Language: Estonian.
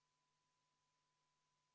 Palun võtta seisukoht ja hääletada!